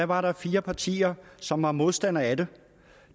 var der fire partier som var modstandere af det